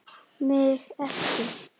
MIG EKKI!